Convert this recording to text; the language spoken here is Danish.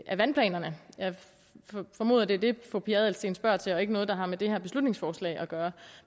af vandplanerne jeg formoder at det er det fru pia adelsteen spørger til og ikke noget der har med det her beslutningsforslag at gøre